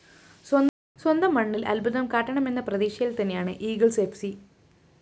സ്വന്തംമണ്ണില്‍ അത്ഭുതം കാട്ടാമെന്ന പ്രതീക്ഷയില്‍ തന്നെയാണ്‌ ഈഗിൾസ്‌ ഫ്‌ സി